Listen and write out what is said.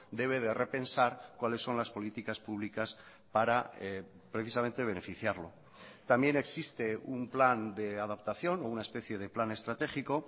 debe de repensar cuáles son las políticas públicas para precisamente beneficiarlo también existe un plan de adaptación o una especie de plan estratégico